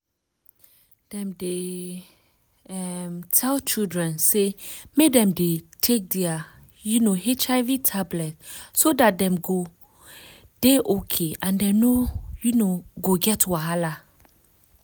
dem dey um tell children say make dem dey take their um hiv tablet so dat dem go dey okay and dem no um go get problem